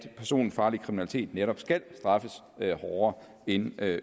personfarlig kriminalitet netop skal straffes hårdere end